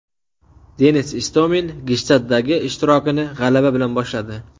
Denis Istomin Gshtaddagi ishtirokini g‘alaba bilan boshladi.